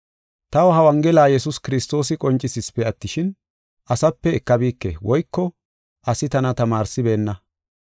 Taw ha Wongela Yesuusi Kiristoosi qoncisisipe attishin, asape ekabike woyko asi tana tamaarsibeenna.